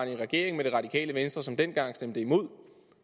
i regering med det radikale venstre som dengang stemte imod